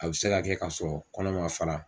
A bɛ se ka kɛ ka sɔrɔ kɔnɔ man fara.